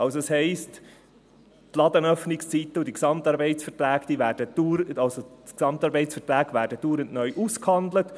Das heisst, die Ladenöffnungszeiten und die GAVs werden dauernd neu ausgehandelt.